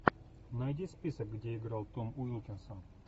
найди список где играл том уилкинсон